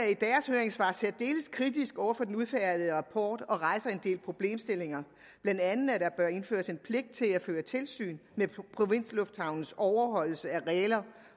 høringssvar særdeles kritisk over for den udfærdigede rapport og rejser en del problemstillinger blandt andet at der bør indføres en pligt til at føre tilsyn med provinslufthavnens overholdelse af regler